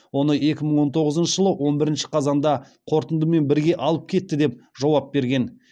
оны екі мың он тоғызыншы жылы он бірінші қазанда қорытындымен бірге алып кетті деп жауап берген